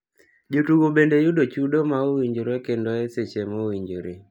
Jotugo bende yudo chudo ma owinjore kendo e seche ma owinjore.